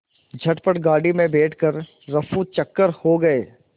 झटपट गाड़ी में बैठ कर ऱफूचक्कर हो गए